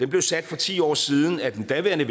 blev sat for ti år siden af den daværende